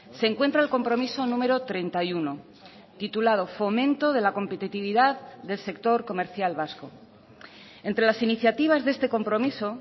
se encuentra el compromiso número treinta y uno titulado fomento de la competitividad del sector comercial vasco entre las iniciativas de este compromiso